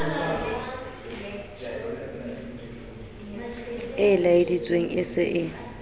e laeleditsweng e se e